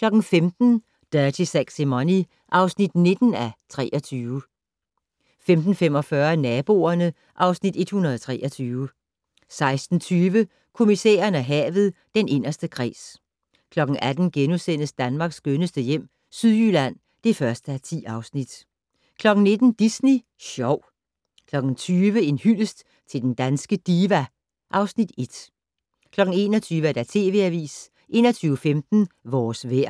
15:00: Dirty Sexy Money (9:23) 15:45: Naboerne (Afs. 123) 16:20: Kommissæren og havet: Den inderste kreds 18:00: Danmarks skønneste hjem - Sydjylland (1:10)* 19:00: Disney Sjov 20:00: En hyldest til den danske diva (1) 21:00: TV Avisen 21:15: Vores vejr